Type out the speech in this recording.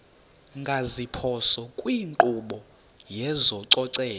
ngeziphoso kwinkqubo yezococeko